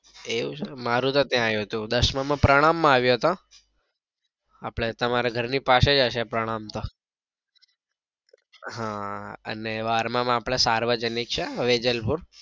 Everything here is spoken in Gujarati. એવું છે મારો તો ત્યાં આવ્યો હતો દશામાં માં તો પ્રણામ માં આવ્યો હતો આપડે તમારા ઘર ની પાસે જ હશે ને પ્રણામ તો હા અને બારમા મા આપડે સાર્વજનિક છે વેજલપુર.